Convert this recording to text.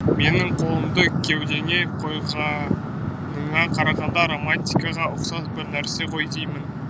менің қолымды кеудеңе қойғаныңа қарағанда романтикаға ұқсас бір нәрсе ғой деймін